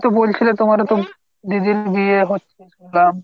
তুমি ও তো বলছিলে তোমার ও তো দিদির বিয়ে হচ্ছে শুনলাম।